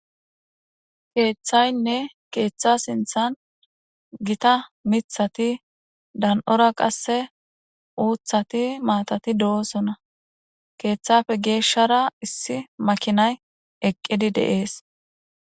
Keeththaynne keeththa sinthan gita mithati dan77ora qasse uuthati maatati do7oosona. Keeththafe geeshshara issi makinay eqqidi de7ees.